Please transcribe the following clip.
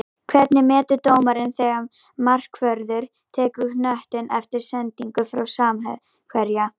Hvernig metur dómarinn þegar markvörður tekur knöttinn eftir sendingu frá samherja?